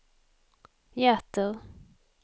hjärter